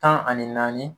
Tan ani naani